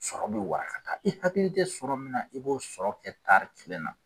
Sɔrɔ bɛ warakata, i hakili tɛ sɔrɔ min na, i b'o sɔrɔ kɛ tari tilen na.